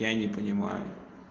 я не понимаю